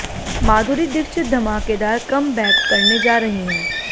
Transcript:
माधुरी दीक्षित धमाकेदार कमबैक करने जा रही हैं